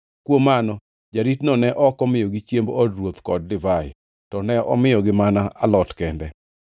Kuom mano, jaritono ne ok omiyogi chiemb od ruoth kod divai, to ne omiyogi mana alot kende.